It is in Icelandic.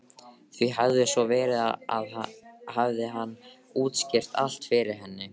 Því hefði svo verið hefði hann útskýrt allt fyrir henni.